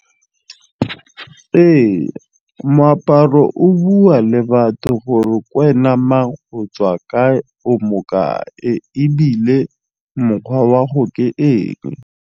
Ee moaparo o bua le batho gore k'wena mang, o tswa kae, o mokae ebile mokgwa wa 'go ke eng.